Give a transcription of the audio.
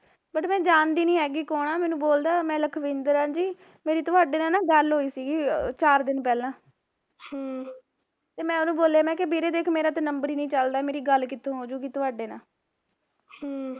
but ਮੈਂ ਜਾਣਦੀ ਨੀ ਹੈਗੀ ਕੋਣ ਆ ਮੈਨੂੰ ਬੋਲਦਾ ਮੈ ਲਖਵਿੰਦਰ ਆ ਜੀ ਮੇਰੀ ਤੁਹਾਡੇ ਨਾਲ ਗੱਲ ਹੋਈ ਸੀਗੀ ਚਾਰ ਦਿਨ ਪਹਿਲਾਂ ਹਮ ਤੇ ਮੈਂ ਉਹਨੂੰ ਬੋਲਿਆ ਮੈਂ ਕਿਹਾ ਵੀਰੇ ਦੇਖ ਮੇਰਾ ਤਾਂ ਨੰਬਰ ਹੀਂ ਨੀ ਚੱਲਦਾ ਮੇਰੀ ਗੱਲ ਕਿਥੋਂ ਹੋਜੂਗੀ ਤੁਹਾਡੇ ਨਾਲ਼ ਹਮ